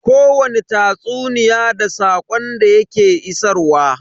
Kowani tatsuniya da saƙon da ya ke isarwa.